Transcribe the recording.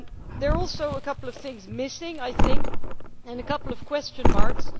There are also a couple of things missing, and a couple of question marks.